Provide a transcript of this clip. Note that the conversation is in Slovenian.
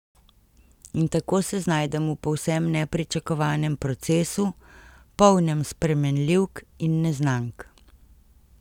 In tako se znajdem v povsem nepričakovanem procesu, polnem spremenljivk in neznank.